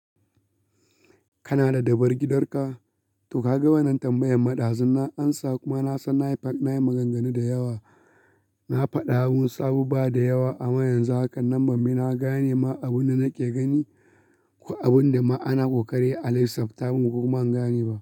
Kana da dabar gidar ka? To ka ga wannan tambayan ma ɗazu na ansa kuma na san na yi maganganu da yawa, na faɗa wasu abubuwa da yawa amma yanzu haka nan ban bi na gane ma abin da nake gani ko abun da ma ana ƙoƙari a laifsafta kuma ban gane ba.